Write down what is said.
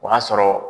O y'a sɔrɔ